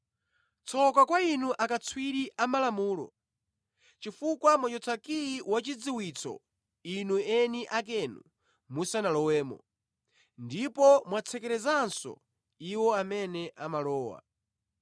“Tsoka kwa inu akatswiri a Malamulo, chifukwa mwachotsa kiyi wachidziwitso inu eni akenu musanalowemo, ndipo mwatsekerezanso iwo amene amalowa.”